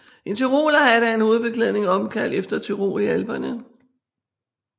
En tyrolerhat er en hovedbeklædning opkaldt efter Tyrol i Alperne